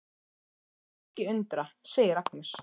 Mig skal ekki undra, segir Agnes.